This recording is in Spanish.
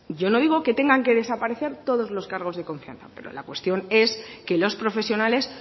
yo no digo que tengan que desaparecer todos los cargos de confianza pero la cuestión es que los profesionales